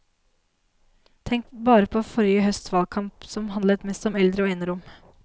Tenk bare på forrige høsts valgkamp, som handlet mest om eldre og enerom.